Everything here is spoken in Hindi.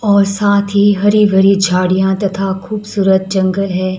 और साथ ही हरी भरी झाड़ियां तथा खूबसूरत जंगल है।